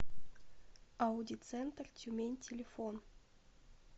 ауди центр тюмень телефон